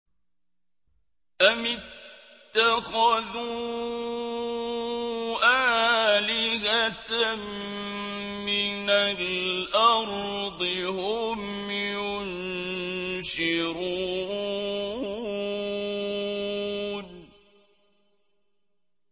أَمِ اتَّخَذُوا آلِهَةً مِّنَ الْأَرْضِ هُمْ يُنشِرُونَ